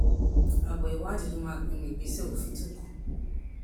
àbọ ìwádìí ló máa pinnu ìgbésẹ òfin tó kàn